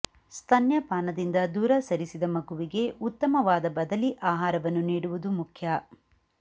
ಸ್ತನ್ಯಪಾನದಿಂದ ದೂರ ಸರಿಸಿದ ಮಗುವಿಗೆ ಉತ್ತಮವಾದ ಬದಲಿ ಆಹಾರವನ್ನು ನೀಡುವುದು ಮುಖ್ಯ